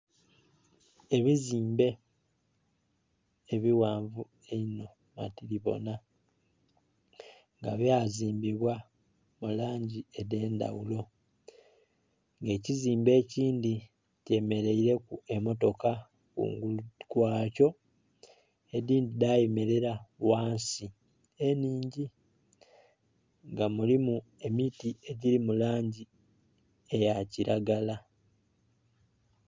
Ebizimbe ebighanvu einho matilibonha nga bya zimbibwa mu langi edhendhaghulo nga ekizimbe ekindhi kye mereire ku emotoka kungulu kwa kyo edindhi dha yemerela ghansi enhingi nga mulimu emiti edhili mulangi eya kilagala.